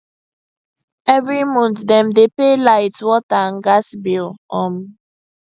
every month dem dey pay light water and gas bill um